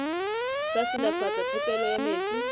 sa silafatsa phepelo ya metsi